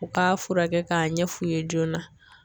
U k'a furakɛ k'a ɲɛ f'u ye joona.